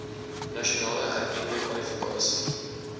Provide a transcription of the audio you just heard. nasionaal erkende kwalifikasie